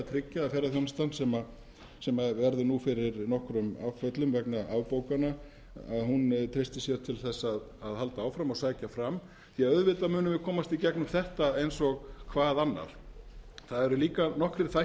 tryggja að ferðaþjónustan sem verður fyrir nokkrum áföllum vegna afbókana treysti sér til að halda áfram og sækja fram því að auðvitað munum við komast í gegnum þetta eins og hvað annað það eru líka